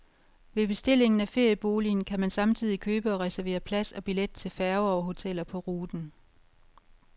Ved bestillingen af ferieboligen kan man samtidig købe og reservere plads og billet til færger og hoteller på ruten.